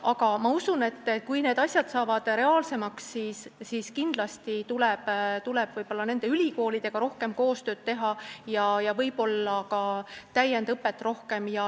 Aga ma usun, et kui need asjad saavad reaalsemaks, siis tuleb ülikoolidega rohkem koostööd teha ja võiks olla rohkem täiendusõpet.